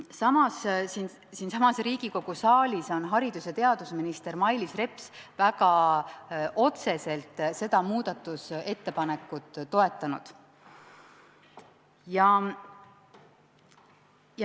Samas, siinsamas Riigikogu saalis on haridus- ja teadusminister Mailis Reps väga otseselt seda muudatusettepanekut toetanud.